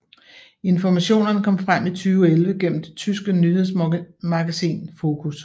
Informationer kom frem i 2011 gennem det tyske nyhedsmagasin Focus